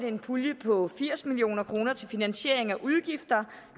en pulje på firs million kroner til finansiering af udgifter